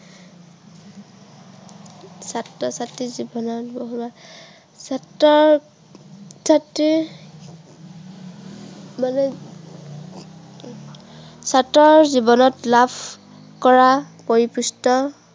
ছাত্ৰ-ছাত্ৰীৰ জীৱনত বহুত আহ ছাত্ৰ-ছাত্ৰীৰ জীৱনত ছাত্ৰৰ জীৱনত লাভ, কৰা পৰিকৃষ্ট